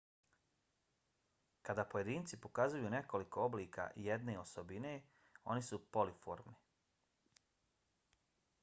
kada pojedinci pokazuju nekoliko oblika jedne osobine oni su polimorfni